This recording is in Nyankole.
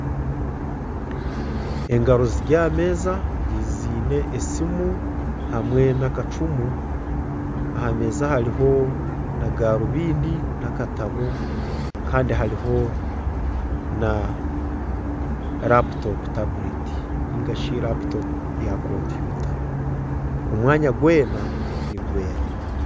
Engaro ziri aha meeza ziine esimu hamwe n'akacumu aha meeza hariho na garubindi n'akatabo kandi hariho na laputopu tabuleti nigashi laputopu ya kompyuta omwanya gwena nigwera.